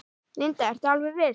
Linda: Ertu alveg viss?